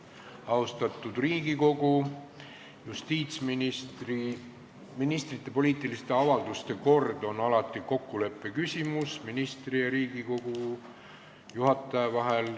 Austatud Riigikogu, ministrite poliitiliste avalduse menetlemise kord on alati kokkuleppe küsimus ministri ja Riigikogu juhataja vahel.